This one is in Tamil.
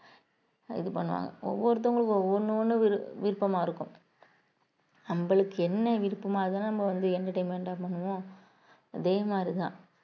இது பண்ணுவாங்க ஒவ்வொருத்தவங்களுக்கும் ஒவ்வொண்ணும் விரு~ விருப்பமா இருக்கும் நம்மளுக்கு என்ன விருப்பமா இருந்தாலும் நம்ம வந்து entertainment ஆ பண்ணுவோம் அதே மாதிரிதான்